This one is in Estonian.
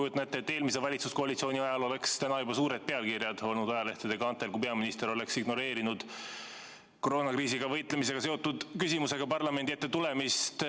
Ma kujutan ette, et eelmise valitsuskoalitsiooni ajal oleks täna juba suured pealkirjad olnud ajalehtede kaantel, kui peaminister oleks ignoreerinud koroonakriisiga võitlemisega seotud küsimusega parlamendi ette tulemist.